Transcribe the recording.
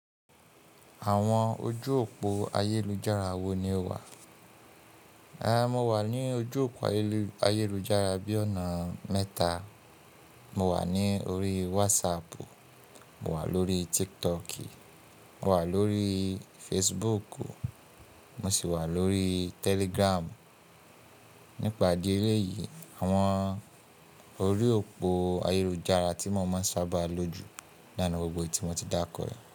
Àwọn ojú òpó ayélujára wo ni o wà? Ehn mo wà ní ojú òpó ayélujára bí ọ̀nà mẹ́ta. Mo wà ní orí WhatsApp, mo wà lórí TikTok, mo wà lórí Facebook, mo sì wà lórí Telegram. Nípa idi eleyìí àwọn orí òpó ayélujára tí mo máa ń sábà lo jù naa ni gbogbo ohun tí mo ti dárukọ yi.